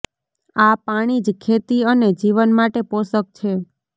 આ પાણી જ ખેતી અને જીવન માટે પોષક છે